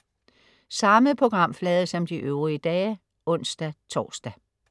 Samme programflade som de øvrige dage (ons-tors)